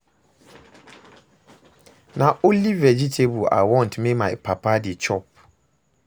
Na only vegetable I want make my papa dey chop